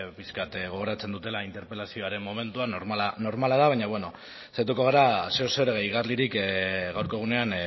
gogoratzen dutela interpelazioaren momentuan normala da baina beno saiatuko gara zer edo zer gehigarririk gaurko egunean